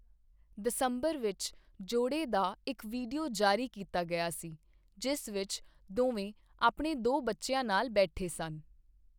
ਦਸੰਬਰ ਵਿੱਚ, ਜੋੜੇ ਦਾ ਇੱਕ ਵੀਡੀਓ ਜਾਰੀ ਕੀਤਾ ਗਿਆ ਸੀ, ਜਿਸ ਵਿੱਚ ਦੋਵੇਂ ਆਪਣੇ ਦੋ ਬੱਚਿਆਂ ਨਾਲ ਬੈਠੇ ਸਨ।